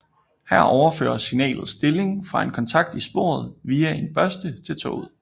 Her overføres signalets stilling fra en kontakt i sporet via en børste til toget